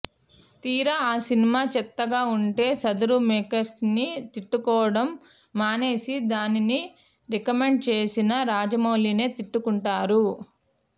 తీరా ఆ సినిమా చెత్తగా వుంటే సదరు మేకర్స్ని తిట్టుకోవడం మానేసి దానిని రికమండ్ చేసిన రాజమౌళినే తిట్టుకుంటారు